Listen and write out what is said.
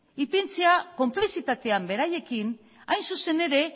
ipintzea konplizitatean beraiekin hain zuzen ere